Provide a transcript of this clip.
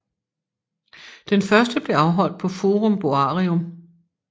Den første blev afholdt på Forum Boarium